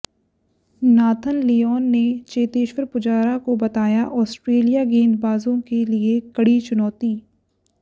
Nathan Lyon ने चेतेश्वर पुजारा को बताया ऑस्ट्रेलियाई गेंदबाजों के लिए कड़ी चुनौती